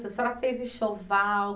Se a senhora fez o enxoval?